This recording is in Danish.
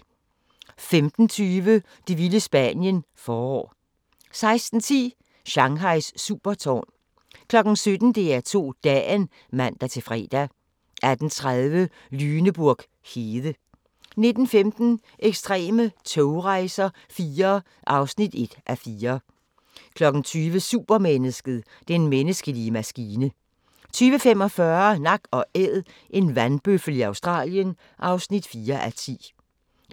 15:20: Det vilde Spanien – forår 16:10: Shanghais supertårn 17:00: DR2 Dagen (man-fre) 18:30: Lüneburg hede 19:15: Ekstreme togrejser IV (1:4) 20:00: Supermennesket: Den menneskelige maskine 20:45: Nak & Æd – en vandbøffel i Australien (4:10)